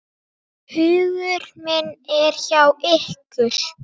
Hugur minn er hjá ykkur.